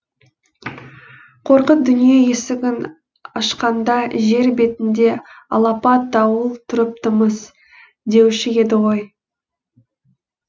қорқыт дүние есігін ашқанда жер бетінде алапат дауыл тұрыпты мыс деуші еді ғой